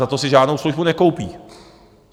Za to si žádnou službu nekoupí.